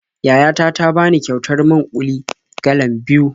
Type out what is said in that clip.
Yaya ta ta bani kyautar man-ƙuli galan biyu.